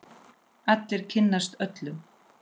Allir kynnast öllum.